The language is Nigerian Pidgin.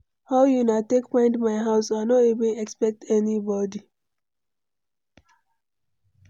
How una take find my house? I no even expect anybody.